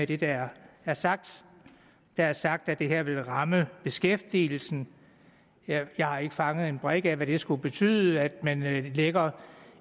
det der er sagt der er sagt at det her vil ramme beskæftigelsen jeg har ikke fattet en brik af hvad det skulle betyde at man lægger